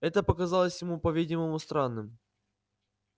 это показалось ему по-видимому странным